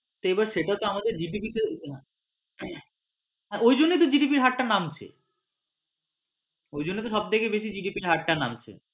এবার সেটা তো আমাদের GDP টে না হ্যাঁ ওই জন্যই তো আমাদের GDP এর হার টা নামছে ওই জন্যই তো GDP এর হার টা সব থেকে বেশী নামছে।